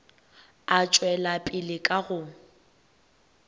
a tšwela pele ka go